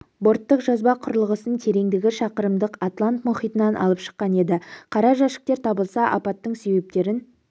борттық жазба құрылғысын тереңдігі шақырымдық атлант мұхитынан алып шыққан еді қара жәшіктер табылса апаттың себептерін